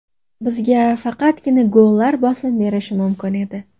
Bizga faqatgina gollar bosim berishi mumkin edi.